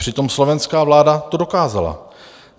Přitom slovenská vláda to dokázala.